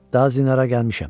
Da zinarə gəlmişəm.